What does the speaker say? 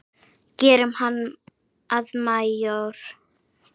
Gerum hann að majór.